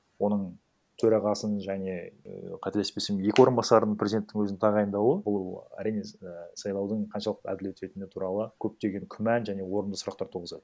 оның төрағасын және і қателеспесем екі орынбасарын президенттің өзінің тағайындауы ол әрине і сайлаудың қаншалықты әділет өтетіні туралы көптеген күмән және орынды сұрақтар туғызады